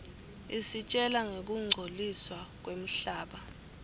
isitjela ngekungcoliswa kwemhlaba